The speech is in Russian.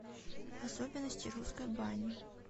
особенности русской бани